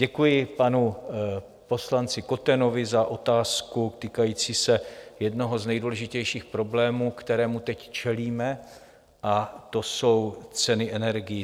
Děkuji panu poslanci Kotenovi za otázku týkající se jednoho z nejdůležitějších problémů, kterým teď čelíme, a to jsou ceny energií.